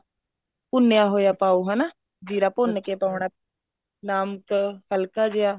ਭੁੰਨਿਆ ਹੋਇਆ ਪਾਓ ਹਨਾ ਜ਼ੀਰਾ ਭੁੰਨ ਕੇ ਪਾਉਣਾ ਨਮਕ ਹਲਕਾ ਜਿਹਾ